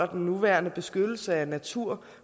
den nuværende beskyttelse af naturen